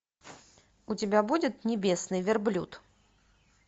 у тебя будет небесный верблюд